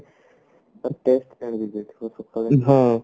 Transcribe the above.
ତାର pest ହେଇଯାଇଥିବ ସକାଳୁ